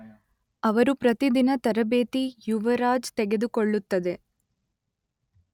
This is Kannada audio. ಅವರು ಪ್ರತಿದಿನ ತರಬೇತಿ ಯುವರಾಜ್ ತೆಗೆದುಕೊಳ್ಳುತ್ತದೆ.